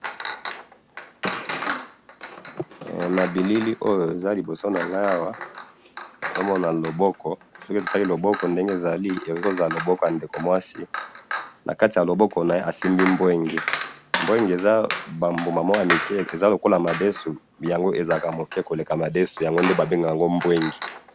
foto namoni awa namoni eza biloko ya koliya ,biloko oyo namoni eza pondu na madesu